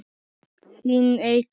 Þín Eygló.